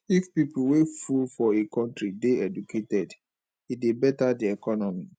if pipo wey full for a country de educated e de better di economy